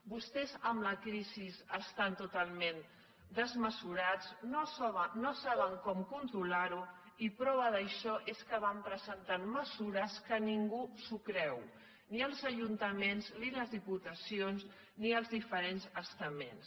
vostès amb la crisi estan totalment desmesurats no saben com controlar ho i prova d’això és que van presentant mesures que ningú s’ho creu ni els ajuntaments ni les diputacions ni els diferents estaments